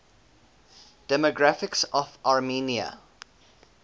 demographics of armenia